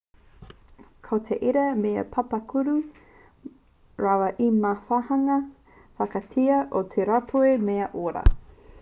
ko te ira te mea pāpaku rawa me te wāhanga whakatika o te rauropi mea ora